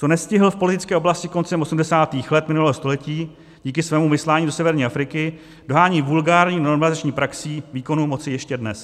Co nestihl v politické oblasti koncem 80. let minulého století díky svému vyslání do severní Afriky, dohání vulgární normalizační praxí výkonu moci ještě dnes.